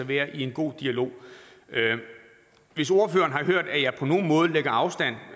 være i en god dialog hvis ordføreren har hørt at jeg på nogen måde lægger afstand